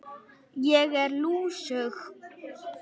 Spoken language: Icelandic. Ég er lúsug.